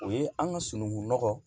O ye an ka sunungun nɔgɔ